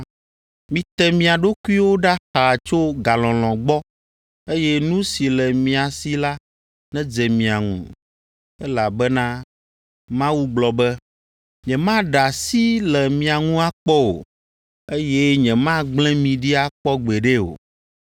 Mite mia ɖokuiwo ɖa xaa tso galɔlɔ̃ gbɔ, eye nu si le mia si la nedze mia ŋu, elabena Mawu gblɔ be, “Nyemaɖe asi le mia ŋu akpɔ o, eye nyemagblẽ mi ɖi akpɔ gbeɖe o.”